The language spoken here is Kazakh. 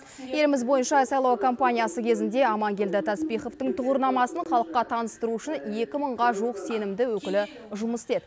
еліміз бойынша сайлау кампаниясы кезінде аманкелді таспиховтың тұғырнамасын халыққа таныстыру үшін екі мыңға жуық сенімді өкілі жұмыс істеді